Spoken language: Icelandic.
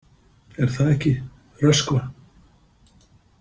Er það ekki, Röskva?